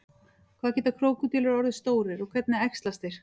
hvað geta krókódílar orðið stórir og hvernig æxlast þeir